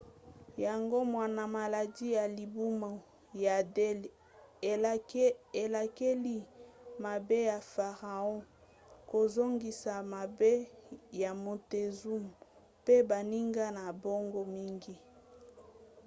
yango wana maladi ya libumu ya delhi elakeli mabe ya farao kozongisa mabe ya montezuma mpe baninga na bango mingi